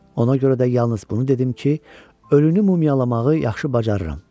Ona görə də yalnız bunu dedim ki, ölünü mumiyalamağı yaxşı bacarıram.